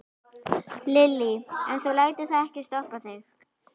Lillý: En þú lætur það ekki stoppa þig?